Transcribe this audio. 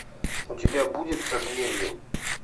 у тебя будет задверье